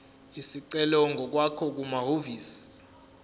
isicelo ngokwakho kumahhovisi